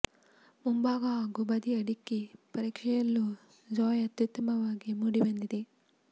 ಮುಂಭಾಗ ಹಾಗೂ ಬದಿಯ ಢಿಕ್ಕಿ ಪರೀಕ್ಷೆಯಲ್ಲೂ ಜಾಝ್ ಅತ್ಯುತ್ತಮವಾಗಿ ಮೂಡಿ ಬಂದಿದೆ